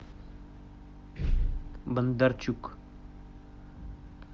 бондарчук